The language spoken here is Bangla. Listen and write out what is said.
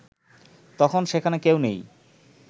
তখন সেখানে কেউ নেই